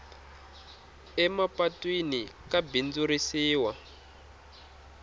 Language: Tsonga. emapatwini ka bindzurisiwa